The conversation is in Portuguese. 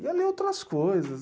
Ia ler outras coisas.